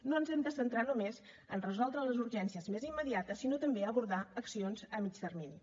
no ens hem de centrar només en resoldre les urgències més immediates sinó també abordar accions a mitjà termini